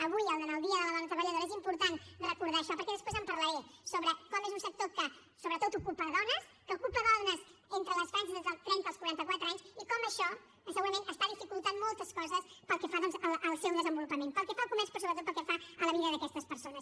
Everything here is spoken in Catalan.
avui en el dia de la dona treballadora és important recordar això perquè després en parlaré sobre com és un sector que sobretot ocupa dones que ocupa dones entre les franges dels trenta als quaranta quatre anys i com això segurament està dificultant moltes coses pel que fa doncs al seu desenvolupament pel que fa al comerç però sobretot pel que fa a la vida d’aquestes persones